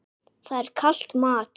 Það er kalt mat.